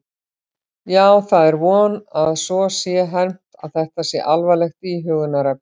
Já, það er von að svo sé hermt að þetta sé alvarlegt íhugunarefni.